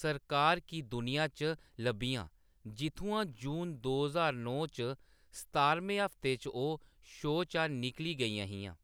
सरकार की दुनिया च लब्भियां, जित्थुआं जून दो ज्हार नौ च सतारमें हफ्ते च ओह्‌‌ शो चा निकली गेइयां हियां।